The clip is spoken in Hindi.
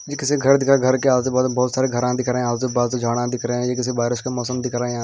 ये किसी घर दिखा घर के आज से बहुत सारे घरा दिख रहे हैं आजू बाजू झड़िया दिख रहे हैं या किसी बारिश का मौसम दिख रहा है यहाँ।